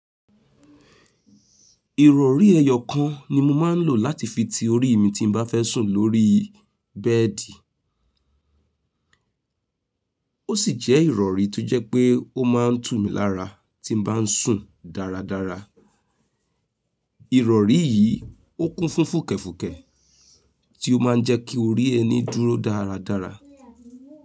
Ìrọ̀rí ẹyọ kan ni mo máa ń lò láti fi ti orí mi tí n mo bá fẹ́ sùn lórí bẹ́ẹ̀dì. Ó sì jẹ́ ìrọ̀rí tó jẹ́ pé ó máa ń tù mí lára tí mo bá ń sùn dáradára. Ìrọ̀rí yìí ó kún fún fùkẹ̀fùkẹ̀ tí ó má ń jẹ́ kí orí ẹni dúró dáradára.